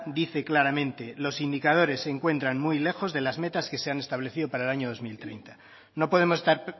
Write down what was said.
dice claramente los indicadores se encuentran muy lejos de las metas que se han establecido para el año dos mil treinta no podemos estar